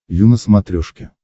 ю на смотрешке